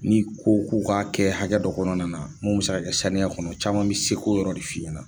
N'i ko k'u k'a kɛ hakɛ dɔ kɔnɔna na, mun bɛ se ka kɛ saniya kɔnɔ, caman bɛ seko yɔrɔ de f'i ye na.